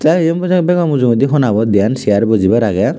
tey eyen bajan bego mujungedi honabot deyan cegar bojebar agey.